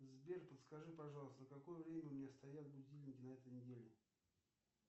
сбер подскажи пожалуйста на какое время у меня стоят будильники на этой неделе